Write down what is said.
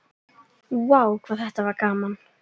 Vá hvað þetta var gaman!!